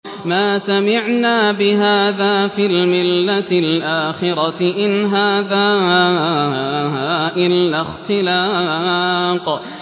مَا سَمِعْنَا بِهَٰذَا فِي الْمِلَّةِ الْآخِرَةِ إِنْ هَٰذَا إِلَّا اخْتِلَاقٌ